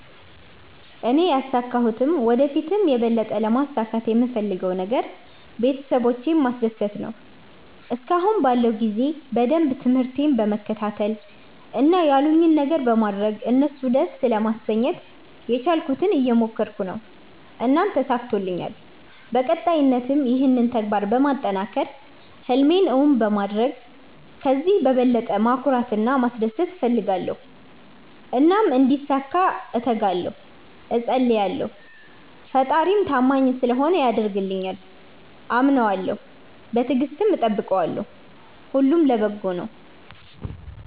እኔ ያሣካሁትም ወደ ፊትም የበለጠ ለማሣካት የምፈለገው ነገር ቤተሠቦቼን ማስደሰት ነዎ። እስከአሁን ባለው ጊዜ በደንብ ትምርህቴን በመከታተል እና ያሉኝን ነገሮች በማድረግ እነሡን ደስ ለማሠኘት የቻልኩትን እየሞከረኩ ነው። እናም ተሣክቶልኛል በቀጣይነትም ይህንን ተግባር በማጠናከር ህልሜን እውን በማድረግ ከዚህ በበለጠ ማኩራት እና ማስደሰት እፈልጋለሁ። እናም እንዲሣካ እተጋለሁ እፀልያለሁ። ፈጣሪም ታማኝ ስለሆነ ያደርግልኛል። አምነዋለሁ በትግስትም እጠብቀዋለሁ። ሁሉም ለበጎ ነው።